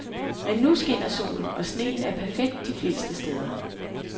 Men nu skinner solen og sneen er perfekt de fleste steder.